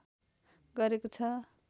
गरेको छ।